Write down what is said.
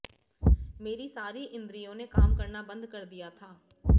मेरी सारी इन्द्रियों ने काम करना बंद कर दिया था